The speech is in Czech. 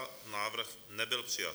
Návrh nebyl přijat.